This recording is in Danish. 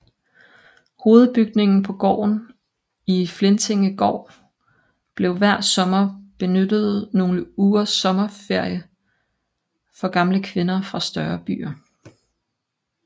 Hovedbygningen på gården Flintingegård blev hver sommer benyttet nogle ugers sommerferie for gamle kvinder fra større byer